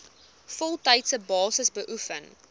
voltydse basis beoefen